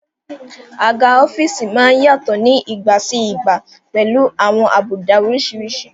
Àga ọ́fíìsì má ń yàtọ̀ ní ìgbà sí ìgbà pẹ̀lú àwọn àbùdá oríṣiríṣi